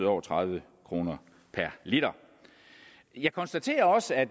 over tredive kroner per liter jeg konstaterer også at